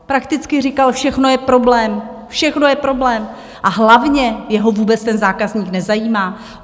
Prakticky říkal: všechno je problém, všechno je problém a hlavně, jeho vůbec ten zákazník nezajímá.